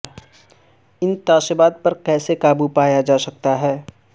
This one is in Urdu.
ان تعصبات پر کیسے قابو پایا جا سکتا ہے